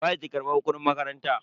Waye ke karbar kudin makaranta?